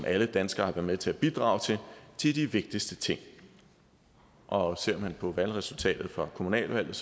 alle danskere er med til at bidrage til til de vigtigste ting og ser man på valgresultatet fra kommunalvalget